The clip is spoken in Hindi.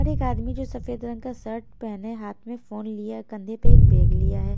और एक आदमी जो सफेद रंग का शर्ट पहने हाथ में फोन लिया कंधे पे एक बैग लिया हैं।